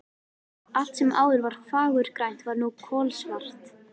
Allt sem áður var fagurgrænt var nú kolsvart.